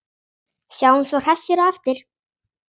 Sjáumst svo hressir á eftir.